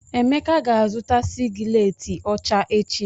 Emeka ga-azụta sịgiletị ọcha echi.